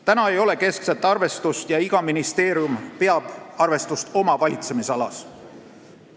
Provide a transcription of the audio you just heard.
Praegu ei ole keskset arvestust ja iga ministeerium peab arvestust oma valitsemisalas.